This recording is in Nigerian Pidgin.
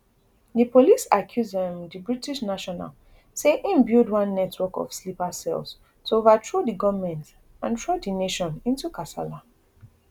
di police accuse um di british national say im build one network of sleeper cells to overthrow di goment and throw di nation into kasala